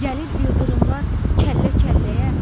Gəlir ildırımlar kəllə-kəlləyə.